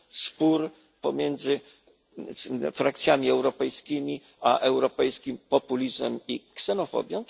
spór pomiędzy frakcjami europejskimi a europejskim populizmem i ksenofobią.